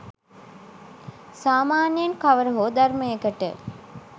සාමාන්‍යයෙන් කවර හෝ ධර්මයකට